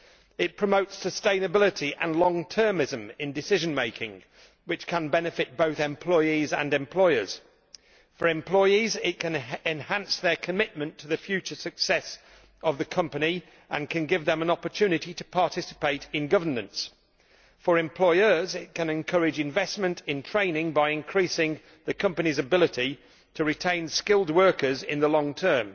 It promotes sustainability and long termism in decision making, which can benefit both employees and employers. For employees, it can enhance their commitment to the future success of the company and can give them an opportunity to participate in governance. For employers, it can encourage investment in training by increasing the company's ability to retain skilled workers in the long term.